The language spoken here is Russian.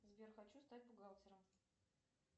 сбер хочу стать бухгалтером